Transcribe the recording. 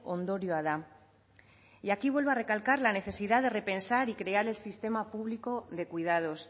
ondorioa da y aquí vuelvo a recalcar la necesidad de repensar y crear el sistema público de cuidados